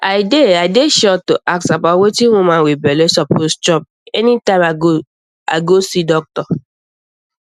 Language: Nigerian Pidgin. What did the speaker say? i dey i dey sure to ask about wetin woman wit belle suppose chop anytime i go see doctor